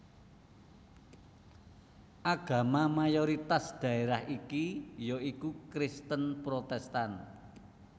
Agama mayoritas dhaérah iki ya iku Kristen Protestan